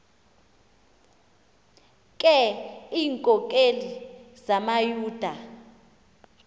ke iinkokeli zamayuda